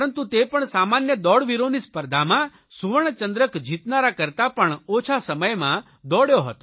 પરંતુ તે પણ સામાન્ય દોડવીરોની સ્પર્ધામાં સુવર્ણચંદ્રક જીતનારા કરતા પણ ઓછા સમયમાં દોડ્યો હતો